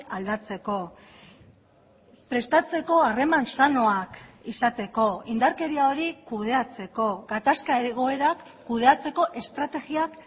aldatzeko prestatzeko harreman sanoak izateko indarkeria hori kudeatzeko gatazka egoerak kudeatzeko estrategiak